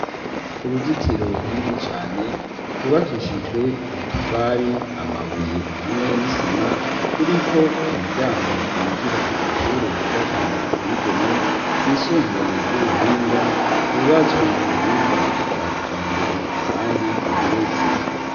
Uruzitiro runini cane, rwubakishijwe amatafari, amabuye hamwe n'isima, ruriko umuryango winjira kw'ishure ryiza cane riteye igomwe, ryisumbuye ry'ubuhinga, ryubatswe ku buhinga bwa kijambere kandi rigeretse.